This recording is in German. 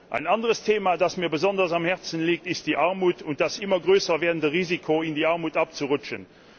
Ein anderes Thema, das mir besonders am Herzen liegt, ist die Armut und das immer größer werdende Risiko, in die Armut abzurutschen.